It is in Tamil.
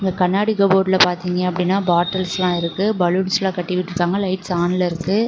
கண்ணாடி காபூர்ட்ல பாத்தீங்கன்னா அப்டினா பாட்டில்ஸ்ல இருக்கு பலூன்ஸ் கட்டி விட்டு இருகாங்க லைட்ஸ் ஆண்ல இருக்கு.